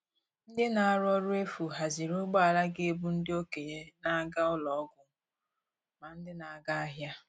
Ndị na-arụ ọrụ efu haziri ụgbọala ga - ebu ndị okenye na - aga n'ụlọ ọgwụ ma ndị na-aga ahịa.